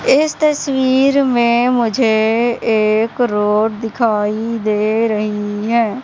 इस तस्वीर में मुझे एक रोड दिखाई दे रही हैं।